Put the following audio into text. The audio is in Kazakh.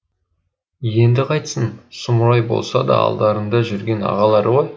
енді қайтсін сұмырай болса да алдарында жүрген ағалары ғой